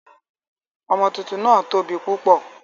Ọmọ tuntun náà tóbi púpọ̀.